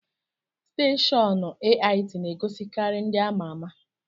Steshọọnu AIT n'egosikari ndị amaama.